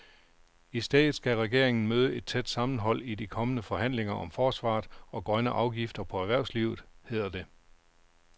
I stedet skal regeringen møde et tæt sammenhold i de kommende forhandlinger om forsvaret og grønne afgifter på erhvervslivet, hedder det.